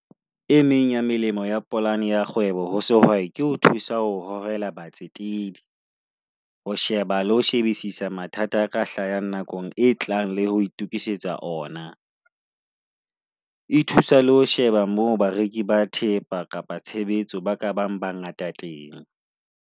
E meng ya melemo ya polane ya kgwebo, ho sehwai ke ho thusa ho hohela batsetedi, ho sheba le ho shebisisa mathata a ka hlahang nakong e tlang le ho itukisetsa ona. E thusa le ho sheba mo bareki ba thepa kapa tshebetso ba ka bang ba ngata teng.